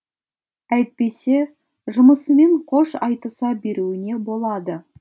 әйтпесе жұмысымен қош айтыса беруіне болады